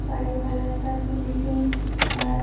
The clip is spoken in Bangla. বাড়ির কালার -টা পিঙ্ক পিঙ্ক আর--